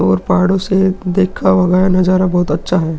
और पहाड़ों से देखा हुआ गया नजारा बहुत अच्छा है।